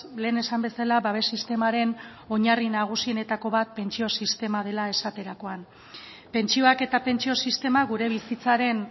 lehen esan bezala babes sistemaren oinarri nagusienetako bat pentsio sistema dela esaterakoan pentsioak eta pentsio sistema gure bizitzaren